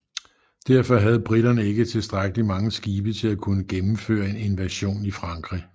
Derfor havde briterne ikke tilstrækkelig mange skibe til at kunne gennemføre en invasion i Frankrig